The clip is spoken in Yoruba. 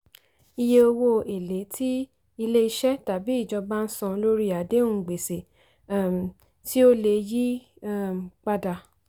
iye owó èlé tí ilé-iṣẹ́ tàbí ìjọba ń san lórí àdéhùn gbèsè um tí ó lè yí um padà.